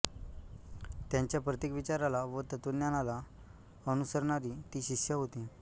त्यांच्या प्रत्येक विचाराला व तत्त्वज्ञानाला अनुसरणारी ती शिष्या होती